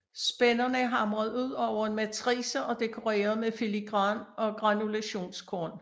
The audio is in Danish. Spænderne er hamret ud over en matrice og dekoreret med filigran og granulationskorn